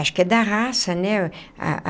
Acho que é da raça, né?